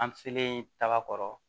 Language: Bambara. An selen taga kɔrɔ